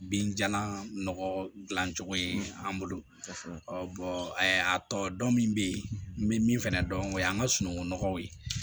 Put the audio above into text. Binjalan nɔgɔ dilan cogo ye an bolo ɔ bɔn a tɔ dɔn min bɛ yen n bɛ min fana dɔn o ye an ka sunungunɔgɔw ye